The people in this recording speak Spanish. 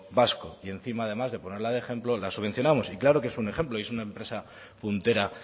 vasco y encima además de ponerla ejemplo la subvencionamos y claro que es un ejemplo y es una empresa puntera